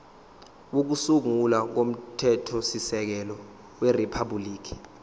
kokusungula komthethosisekelo weriphabhuliki